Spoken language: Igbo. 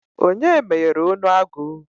Onye meghere onu agu?